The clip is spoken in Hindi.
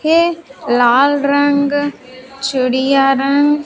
ये लाल रंग चिड़िया रंग--